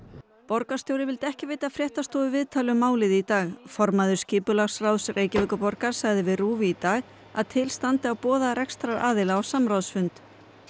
borgarstjóri vildi ekki veita fréttastofu viðtal um málið í dag formaður skipulagsráðs Reykjavíkurborgar sagði við RÚV í dag að til standi að boða rekstrarðila á samráðsfund